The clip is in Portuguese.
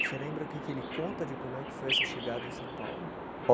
Você lembra o que que ele conta de como é que foi essa chegada em São Paulo?